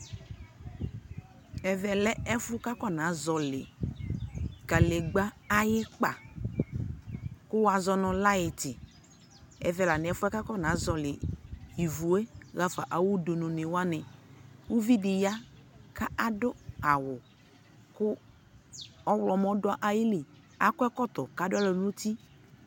ɛvɛ lɛ ɛƒʋ kʋ akɔna zɔli kadigba ayi ikpa kʋ wazɔnʋ lighti, ɛvɛ la nʋ ɛƒʋɛ kʋ akɔna ivʋɛ haƒa awʋ dʋnʋ ni wani, ʋvi di ya kʋ aka adʋ awʋkʋ ɔwlɔmʋ dʋ ayili, adʋ ɛkɔtɔ kʋ adʋalɔ nʋ ʋti